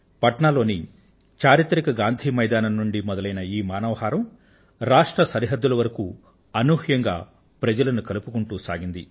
పట్నా లోని చారిత్రక గాంధీ మైదానం నుండి మొదలైన ఈ మానవ హారం రాష్ట్ర సరిహద్దుల వరకూ అనూహ్యంగా ప్రజలను కలుపుకుంటూ సాగింది